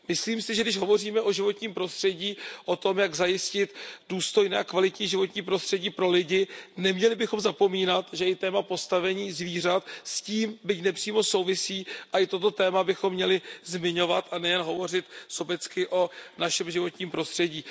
Myslím si, že když hovoříme o životním prostředí, o tom, jak zajistit důstojné životní prostředí pro lidi, neměli bychom zapomínat, že i téma postavení zvířat s tím byť nepřímo souvisí, a i toto téma bychom měli zmiňovat a nejen hovořit sobecky o našem životním prostředí.